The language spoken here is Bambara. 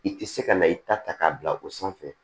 I tɛ se ka na i ta ta k'a bila o sanfɛ